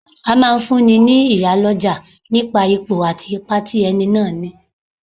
A máa fún ní, ní iyálọ́jà nipa Ipò àti ipa tí ẹni náà ní.